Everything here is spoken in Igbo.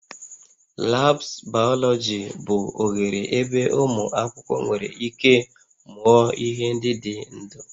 Labs biology bụ oghere ebe ụmụ akwụkwọ nwere ike mụọ ihe ndị dị ndụ